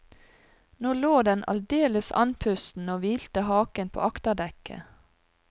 Nå lå den aldeles andpusten og hvilte haken på akterdekket.